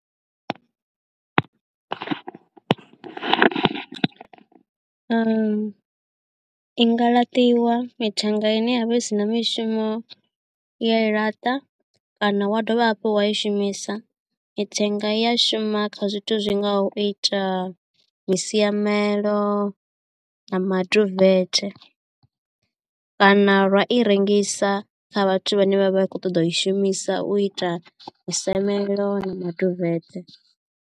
I nga laṱiwa mithenga i ne ya vha i si na mishumo uya i laṱa kana wa dovha hafhu wa i shumisa mithenga i ya shuma kha zwithu zwi ngaho u ita masiamelo na maduvet kana vha i rengisa kha vhathu vhane vha vha khou ṱoḓa u i shumisa u ita musamelo na maduvet.